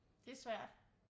Det er svært